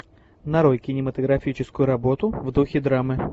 нарой кинематографическую работу в духе драмы